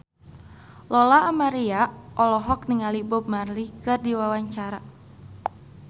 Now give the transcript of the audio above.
Lola Amaria olohok ningali Bob Marley keur diwawancara